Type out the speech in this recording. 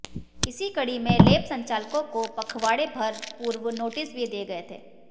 इसी कड़ी में लैब संचालकों को पखवाड़े भर पूर्व नोटिस भी दिए गए थे